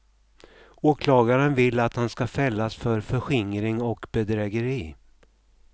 Åklagaren vill att han ska fällas för förskingring och bedrägeri.